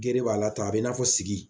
Gere b'a la tan a b'i n'a fɔ sigi